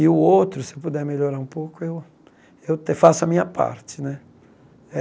E o outro, se eu puder melhorar um pouco, eu eu te faço a minha parte, né?